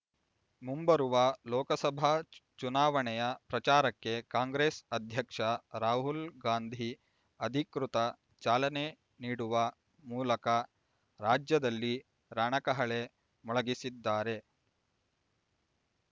ಮುಂಬರುವ ಲೋಕಸಭಾ ಚುನಾವಣೆಯ ಪ್ರಚಾರಕ್ಕೆ ಕಾಂಗ್ರೆಸ್ ಅಧ್ಯಕ್ಷ ರಾಹುಲ್ ಗಾಂಧಿ ಅಧಿಕೃತ ಚಾಲನೆ ನೀ‌ಡುವ ಮೂಲಕ ರಾಜ್ಯದಲ್ಲಿ ರಣಕಹಳೆ ಮೊಳಗಿಸಿದ್ದಾರೆ